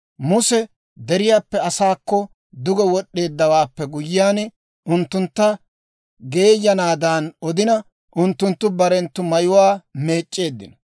Muse deriyaappe asaakko duge wod'd'eeddawaappe guyyiyaan unttuntta geeyanaadan odina, unttunttu barenttu mayuwaa meec'c'eeddino.